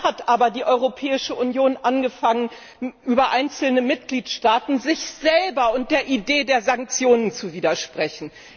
Dann hat aber die Europäische Union über einzelne Mitgliedstaaten angefangen, sich selber und der Idee der Sanktionen zu widersprechen.